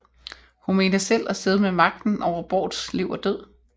Hun mente selv at sidde med magten over Bårds liv og død